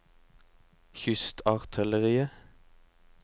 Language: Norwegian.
kystartilleriet